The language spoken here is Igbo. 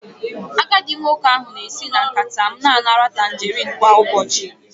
Agadi nwoke ahụ na-esi na nkata m na-anara tangarin kwa ụbọchị